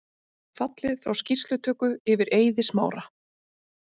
Fallið frá skýrslutöku yfir Eiði Smára